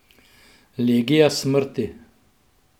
Legija smrti.